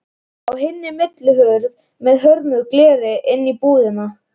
Á hina millihurð með hömruðu gleri inn í íbúðina.